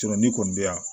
n'i kɔni bɛ yan